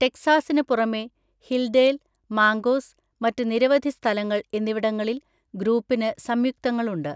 ടെക്സാസിന് പുറമേ Hildale, Mancos, മറ്റ് നിരവധി സ്ഥലങ്ങൾ എന്നിവിടങ്ങളിൽ ഗ്രൂപ്പിന് സംയുക്തങ്ങളുണ്ട്.